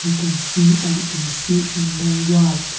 can see an A_C in the wall.